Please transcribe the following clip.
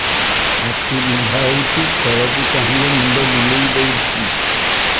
ଆଖି ବିନ୍ଧା ହଉଚି ତଳକୁ ଚାହିଁଲେ ମୁଣ୍ଡ ବୁଲେଇ ଦଉଛି